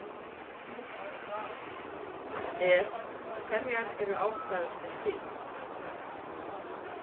Er, hverjar eru ástæðurnar fyrir því?